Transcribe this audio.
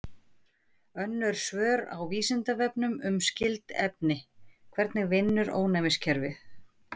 Önnur svör á Vísindavefnum um skyld efni: Hvernig vinnur ónæmiskerfið?